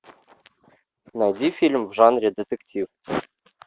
найди фильм в жанре детектив